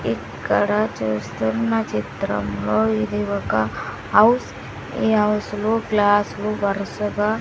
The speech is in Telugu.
ఇక్కడ చూస్తున్న చిత్రంలో ఇది ఒక అవ్స్ ఈ అవ్స్ లో గ్లాస్ లు వరుసగా--